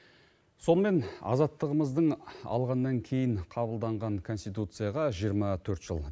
сонымен азаттығымыздың алғаннан кейін қабылданған конституцияға жиырма төрт жыл